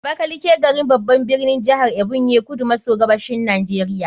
Abakaliki, garin, babban birnin jihar Ebonyi, kudu maso gabashin Najeriya.